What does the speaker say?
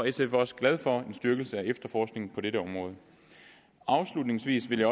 sf også glad for en styrkelse af efterforskningen på dette område afslutningsvis vil